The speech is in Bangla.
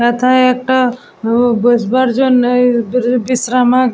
এথায় একটা হো বসবার জন্য এ বি বিশ্রামা --